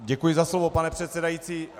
Děkuji za slovo, pane předsedající.